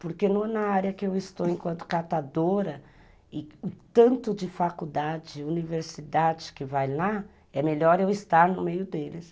Porque na área que eu estou enquanto catadora, e o tanto de faculdade, universidade que vai lá, é melhor eu estar no meio deles.